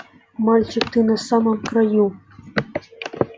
мальчик ты на самом краю